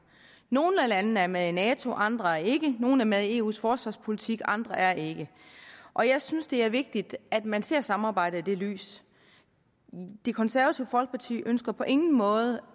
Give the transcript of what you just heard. nogle af landene er med i nato andre er ikke nogle er med eus forsvarspolitik andre er ikke og jeg synes det er vigtigt at man ser samarbejdet i det lys det konservative folkeparti ønsker på ingen måde